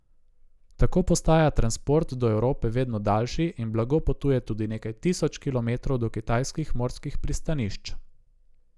Tako postaja transport do Evrope vedno daljši in blago potuje tudi nekaj tisoč kilometrov do kitajskih morskih pristanišč.